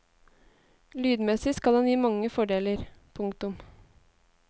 Lydmessig skal den gi mange fordeler. punktum